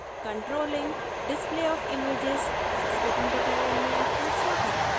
controlling display of images पर spoken tutorial में आपका स्वागत है